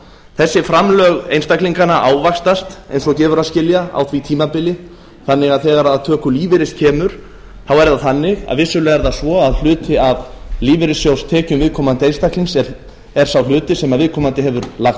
þessi framlög einstaklinganna ávaxtast eins og gefur að skilja á því tímabili þannig að þegar að töku lífeyris kemur þá er það þannig að vissulega er það svo að hluti af lífeyrissjóðstekjum viðkomandi einstaklings er sá hluti sem viðkomandi hefur lagt